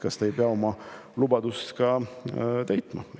Kas te ei pea oma lubadust täitma?